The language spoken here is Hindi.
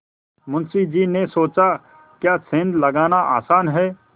मुंशी जी ने सोचाक्या सेंध लगाना आसान है